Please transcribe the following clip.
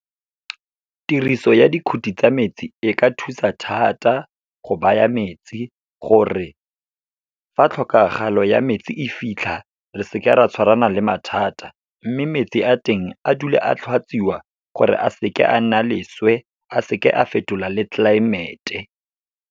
Tiriso ya dikhuti tsa metsi, e ka thusa thata go baya metsi gore fa tlhokagalo ya metsi e fitlha, re seke ra tshwarana le mathata. Mme metsi a teng, a dule a tlhatswiwa gore a seke a nna leswe, a seke a fetola le tlelaemete.